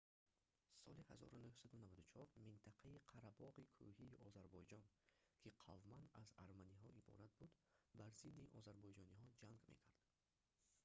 соли 1994 минтақаи қарабоғи кӯҳии озарбойҷон ки қавман аз арманиҳо иборат буд бар зидди озарбойҷониҳо ҷанг мекард